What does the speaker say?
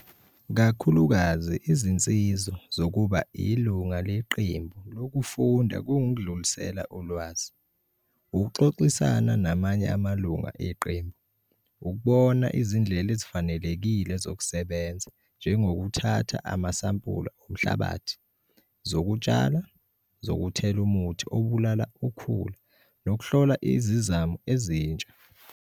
Kakhulukazi izinsizo zokuba ilunga lequmbi lokufunda kungukudlulisela ulwazi, ukuxoxisana namye amalunga eqembu, ukubona izindlela ezifanelekile zokusebenza njengokuthatha amasampula omhlabathi, zokutshala, zokuthela umuthi obulala ukhula nokuhlola izizamo ezinsha.